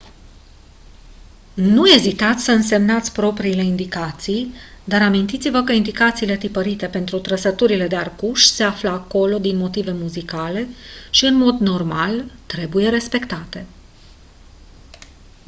nu ezitați să însemnați propriile indicații dar amintiți-vă că indicațiile tipărite pentru trăsăturile de arcuș se află acolo din motive muzicale și în mod normal trebuie respectate